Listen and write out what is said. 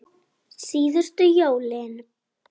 Síðustu jólin.